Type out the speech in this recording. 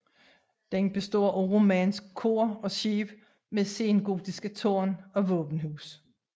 Den består af romansk kor og skib med sengotisk tårn og våbenhus